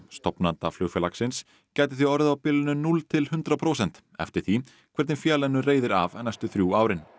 stofnanda flugfélagsins gæti því orðið á bilinu núll til hundrað prósent eftir því hvernig félaginu reiðir af næstu þrjú árin